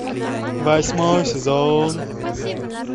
восьмой сезон